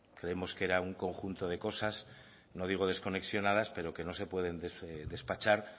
creemos que era un conjunto de cosas no digo desconexionadas pero que no se pueden despachar